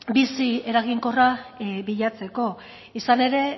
bizi eta eraginkorra bilakatzeko izan ere